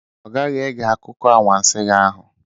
Ọ gaghị ege akụkọ anwansi gị ahụ.